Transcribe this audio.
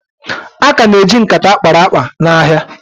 A ka na-eji nkata akpara akpa n'ahịa